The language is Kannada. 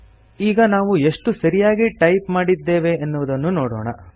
ಈಗ ನಾವು ಎಷ್ಟು ಸರಿಯಾಗಿ ಟೈಪ್ ಮಾಡಿದ್ದೇವೆ ಎನ್ನುವುದನ್ನು ನೋಡೋಣ